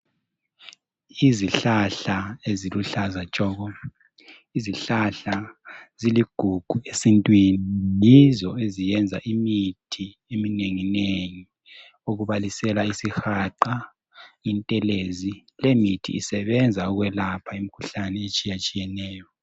Izihlahla eziluhlaza tshoko, izihlahla ziligugu esintwini yizo eziyenza imithi eminengi nengi. Okubalisela isihaqa, intelezi lemithi isebenza ukulapha imkhuhlane etshiyatshiyeneyo.